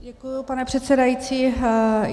Děkuji, pane předsedající.